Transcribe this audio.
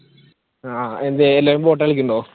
ആഹ് എന്തെ എല്ലാവരും കളിക്കുന്നുണ്ടോ?